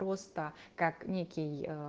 просто как некий